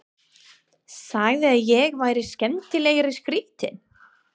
Sagði að ég væri skemmtilega skrýtin.